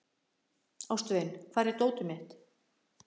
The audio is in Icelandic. Ástvin, hvar er dótið mitt?